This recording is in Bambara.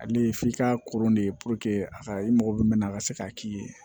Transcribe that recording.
Ale ye f'i ka koron ne ye a ka i mago bɛ min na a ka se k'a k'i ye